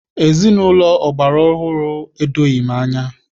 Ezinaụlọ ọgbara ọhụrụ a edoghị m anya.